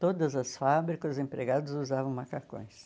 Todas as fábricas, os empregados usavam macacões.